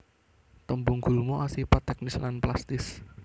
Tembung gulma asipat teknis lan plastis